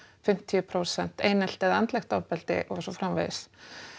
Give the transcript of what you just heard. fimmtíu prósent einelti eða andlegt ofbeldi og svo framvegis